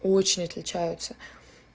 очень отличаются